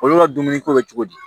Olu ka dumuni ko bɛ cogo di